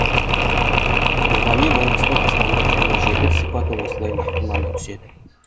рухани болмыстың аспандық және жерлік сипаты осылай нақтылана түседі